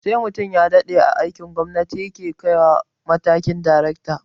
Sai mutum ya daɗe a aikin gwamnati ya ke kaiwa matakin daracta